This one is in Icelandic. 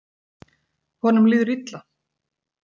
Honum líður illa.